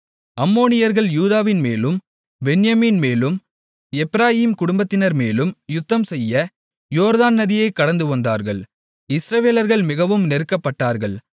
அம்மோனியர்கள் யூதாவின்மேலும் பென்யமீன்மேலும் எப்பிராயீம் குடும்பத்தினர்மேலும் யுத்தம்செய்ய யோர்தான் நதியைக் கடந்துவந்தார்கள் இஸ்ரவேலர்கள் மிகவும் நெருக்கப்பட்டார்கள்